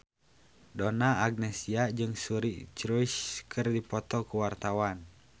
Donna Agnesia jeung Suri Cruise keur dipoto ku wartawan